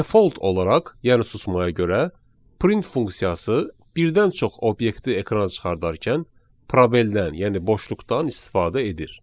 Default olaraq, yəni susmaya görə, print funksiyası birdən çox obyekti ekrana çıxardarkən probeldən, yəni boşluqdan istifadə edir.